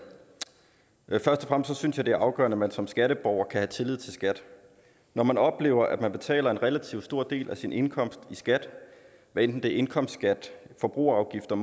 først og fremmest synes jeg det er afgørende at man som skatteborger kan have tillid til skat når man oplever at man betaler en relativt stor del af sin indkomst i skat hvad enten det er indkomstskat forbrugerafgifter